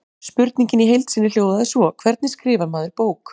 Spurningin í heild sinni hljóðaði svo: Hvernig skrifar maður bók?